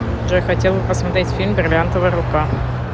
джой хотел бы посмотреть фильм бриллиантовая рука